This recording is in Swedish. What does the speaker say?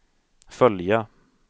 följa